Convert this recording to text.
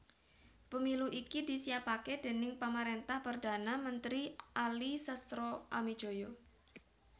Pemilu iki disiapaké déning pamaréntahan Perdhana Mentri Ali Sastroamidjojo